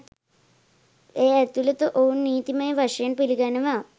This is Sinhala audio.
එය ඇතුලත ඔවුන් නීතිමය වශයෙන් පිළිගැනෙනවා.